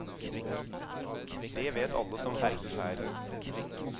Det vet alle som ferdes her.